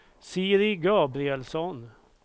Siri Gabrielsson